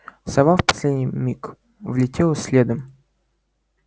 сова в последний миг влетела следом